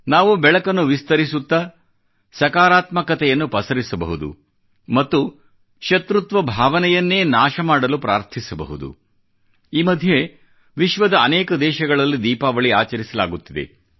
ನಾವು ಬೆಳಕನ್ನು ವಿಸ್ತರಿಸುತ್ತಾ ಸಕಾರಾತ್ಮಕತೆಯನ್ನು ಪಸರಿಸಬಹುದು ಮತ್ತು ಶತ್ರುತ್ವ ಭಾವನೆಯನ್ನೇ ನಾಶ ಮಾಡಲು ಪ್ರಾರ್ಥಿಸಬಹುದು ಈ ಮಧ್ಯೆ ವಿಶ್ವದ ಅನೇಕ ದೇಶಗಳಲ್ಲಿ ದೀಪಾವಳಿ ಆಚರಿಸಲಾಗುತ್ತಿದೆ